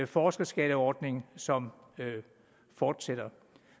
forskerskatteordning som fortsætter